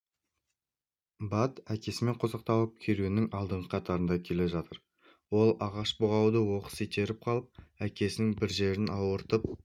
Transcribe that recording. бат әкесімен қосақталып керуеннің алдыңғы қатарында келе жатыр ол ағаш бұғауды оқыс итеріп қалып әкесінің бір жерін ауыртып